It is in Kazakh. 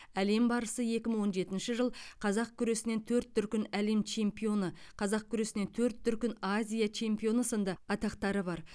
әлем барысы екі мың он жетінші қазақ күресінен төрт дүркін әлем чемпионы қазақ күресінен төрт дүркін азия чемпионы сынды атақтары бар